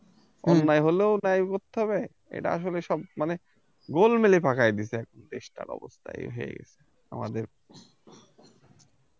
অন্যায় হলেও নেয় করতে হবে এটা আসলে সব মানে গোলমেলে পাকায় দিছে দেশটার অবস্থা এই হয়ে গিয়েছে আমাদের